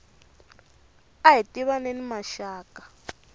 ahi tivaneni maxaka